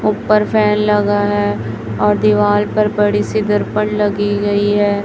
ऊपर फैन लगा है और दीवाल पर बड़ी सी दर्पण लगी गई है।